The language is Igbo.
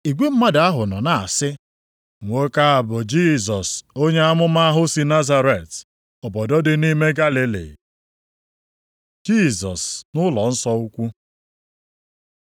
Igwe mmadụ ahụ nọ na-asị, “Nwoke a bụ Jisọs, onye amụma ahụ sị Nazaret, obodo dị nʼime Galili.” Jisọs nʼụlọnsọ ukwu